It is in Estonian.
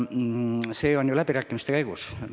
See on ju läbirääkimiste järgus.